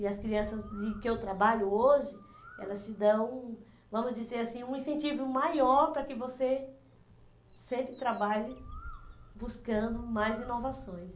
E as crianças de que eu trabalho hoje, elas te dão, vamos dizer assim, um incentivo maior para que você sempre trabalhe buscando mais inovações.